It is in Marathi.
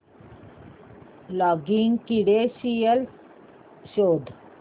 लॉगिन क्रीडेंशीयल्स शोध